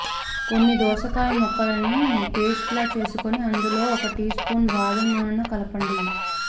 కొన్ని దోసకాయ ముక్కలని పేస్ట్ లా చేసుకుని అందులో ఒక టీస్పూన్ బాదం నూనెను కలపండి